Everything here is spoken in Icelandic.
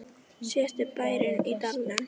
Síðasti bærinn í dalnum